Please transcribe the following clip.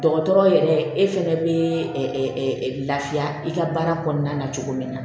Dɔgɔtɔrɔ yɛrɛ e fɛnɛ bɛ ɛ lafiya i ka baara kɔnɔna na cogo min na